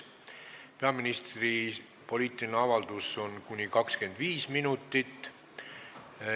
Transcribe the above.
Peaministri poliitiline avaldus võib kesta kuni 25 minutit.